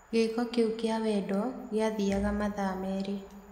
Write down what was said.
Gĩko kĩu kĩa wendo kĩathiaga mathaa merĩ.